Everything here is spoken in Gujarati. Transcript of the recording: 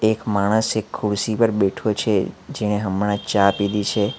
એક માણસ એક ખુરશી પર બેઠો છે જેણે હમણાં ચા પીધી છે.